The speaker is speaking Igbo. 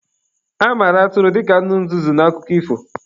A mara Atụrụ dịka anụ nzuzu n'akụkọ ifo.